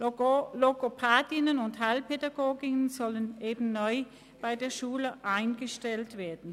Logopädinnen und Heilpädagoginnen sollen eben neu bei der Schule eingestellt werden.